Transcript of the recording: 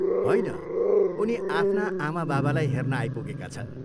होइन, उनी आफ्ना आमाबाबालाई हेर्न आइपुगेका छन्।